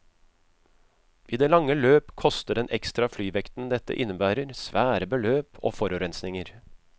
I det lange løp koster den ekstra flyvekten dette innebærer, svære beløp og forurensninger.